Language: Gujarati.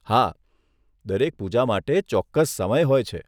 હા, દરેક પૂજા માટે ચોક્કસ સમય હોય છે.